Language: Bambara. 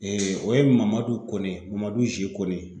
o ye Mamadu Kone Mamadu G. Kone.